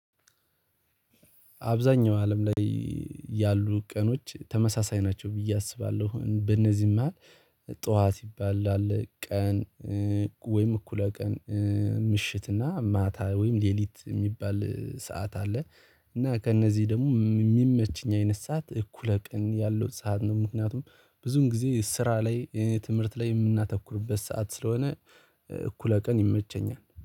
አብዛኛው አለም ላይ ያሉ ቀኖች ተመሳሳይ ናቸው ብዬ አስባለሁ። በእነዚህም መሃል ጠዋት ይባላል ቀን ወይም እኩለ ቀን ምሽትና ማታ ወይም ሌሊት የሚባል ሰዓት አለ። እና ከእነዚህ ደግሞ የሚመችኝ አይነት ሰዓት እኩለ ቀን ያለው ሰዓት ነው። ምክንያቱም ብዙም ጊዜ ስራ ላይ ትምህርት ላይ የምናተኩርበት ሰዓት ስለሆነ እኩለ ቀን ይመቸኛል